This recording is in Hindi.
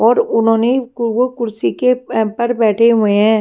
और उन्होंने वो कुर्सी के पर बैठे हुए हैं।